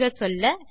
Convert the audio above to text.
சுருங்கச்சொல்ல